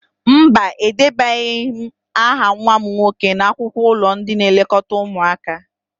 Mba, edebanyeghi m aha nwa m nwoke n'akwụkwọ ụlọ ndị nlekọta ụmụaka